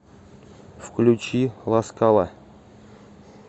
включить ласкала